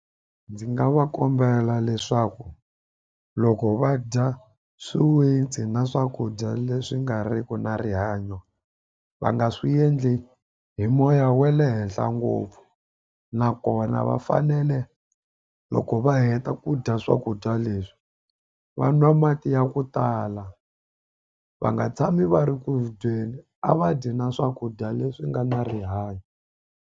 Ndzi nga va kombela leswaku loko va dya swiwitsi na swakudya leswi nga riki na rihanyo va nga swi endli hi moya wa le henhla ngopfu nakona va fanele loko va heta ku dya swakudya leswi va nwa mati ya ku tala va nga tshami va ri ku dyeni a va dyi na swakudya leswi nga na rihanyo.